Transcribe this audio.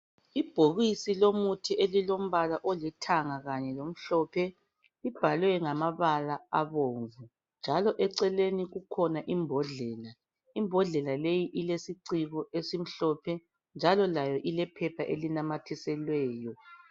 Ibhokisi lomuthi elilombala olithanga kanye lomhlophe libhalwe ngamabala abomvu njalo eceleni kukhona imbodlela. Imbodlela leyi ilesiciko esimhlophe njalo layo ilephepha elinamathiselweyo.